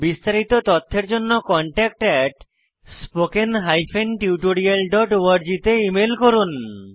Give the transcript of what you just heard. বিস্তারিত তথ্যের জন্য contactspoken tutorialorg তে ইমেল করুন